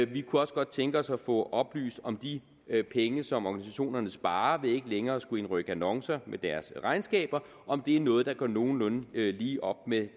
vi kunne også godt tænke os at få oplyst om de penge som organisationerne sparer ved ikke længere at skulle indrykke annoncer med deres regnskaber er noget der går nogenlunde lige op med